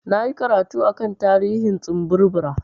Na yi karatu a kan tarihin tsumburbura.